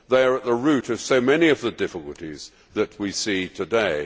They are at the root of so many of the difficulties that we see today.